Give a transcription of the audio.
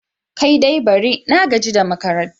Kai dai bari! na gaji da makarantar.